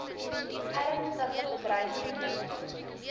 ernstige bedreiging inhou